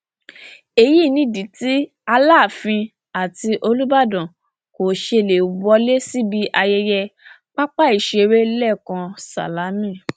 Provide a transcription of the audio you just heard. èyí nìdí tí aláàfin àti olùbàdàn kò ṣe lè wọlé síbi ayẹyẹ pápáìṣeré lẹkàn sálámí